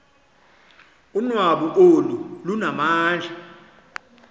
unwabu olu lunamandla